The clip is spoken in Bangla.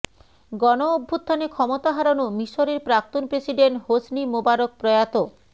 গণঅভ্যুত্থানে ক্ষমতা হারানো মিশরের প্রাক্তন প্রেসিডেন্ট হোসনি মোবারক প্রয়াত